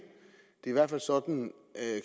det er i hvert fald sådan